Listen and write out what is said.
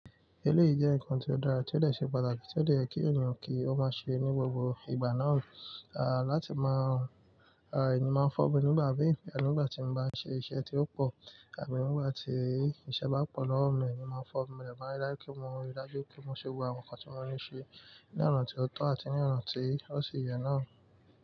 Eléyìí jẹ́ nǹkan tí ó dára, tí ó de ṣe pàtàkì, tí ó de yẹ́ kí ènìyàn kí ó máa ṣe ní gbogbo ìgbà náà, à láti máa, à èmi máa ń fọ́bi nígbà mií, e nígbà tí n bá ṣe iṣẹ́ tí ó pọ̀ àbí nígbà tí iṣẹ́ bá pọ̀ lọ́wọ́ mi, èmi máa ń fọ́ mi lẹ́ ma laki pe mo rí i dájú pé mo ṣe gbogbo àwọn nǹkan tí mo ní ṣe ní ọ̀na tí ó tó àti ní ọ̀na tí ó sì yẹ náà.